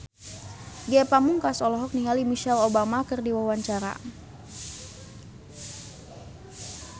Ge Pamungkas olohok ningali Michelle Obama keur diwawancara